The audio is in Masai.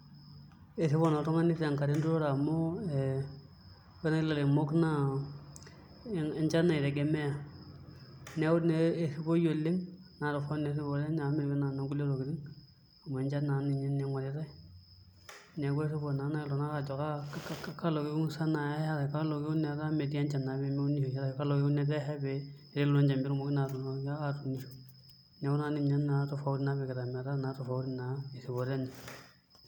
Ore erripoto oltung'ani tenkata enturore amu ee ore oshi ilairemok naa echan itegemea neeku naa erripoi oleng' naa torrono naa erripoto enye amu mee enoonkulie tokitin amu enchan naa ninye ing'oritai neeku erripo naa naai iltung'anak aajo kaa , kalo kekun etaa metii enchan pee mikiunisho ake , kalo kekun etaa esha pee etumoki naa atuunisho, neek ina naa tofauti napikita metaa naa tofauti erripoto enye.